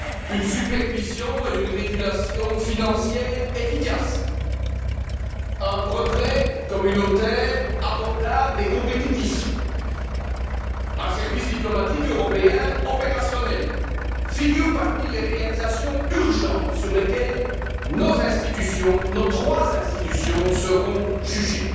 Une supervision et une régulation financières efficaces, un brevet communautaire abordable et compétitif, un service diplomatique européen opérationnel figurent parmi les réalisations urgentes sur lesquelles nos trois institutions seront jugées.